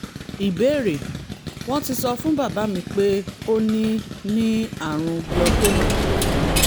ìbéèrè: wọ́n ti sọ fún bàbá mi pé ó ní ní àrùn glaucoma